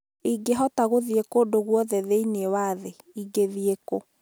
Ingĩhota gũthiĩ kũndũ guothe thĩinĩ wa thĩ, ingĩthiĩ kũ